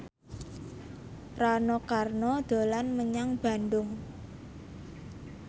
Rano Karno dolan menyang Bandung